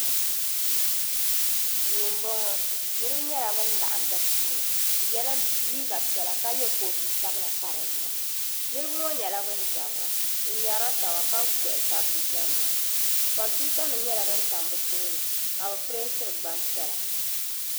Duu m bo ŋɔ niribi nyela bin laɣim din ni bɛ yela liiga piɛla ka ye kootusabila m pa di zuɣu niribi ŋɔ nyela ban zabira bɛ ŋmerila taba ka gohi tabi liiganima kompiwutanim nyela din tam bɛ tooni ka bi pireentire gbanpiɛla.